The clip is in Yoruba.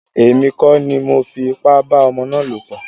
Èmi kọ́ ni mọ fi ipá bá ọmọ ná lọ̀ pọ̀.